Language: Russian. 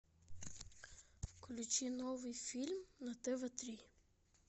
включи новый фильм на тв три